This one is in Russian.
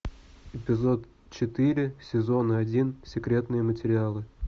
эпизод четыре сезон один секретные материалы